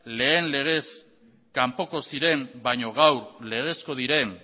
lehen legez kanpoko ziren baino gaur legezko diren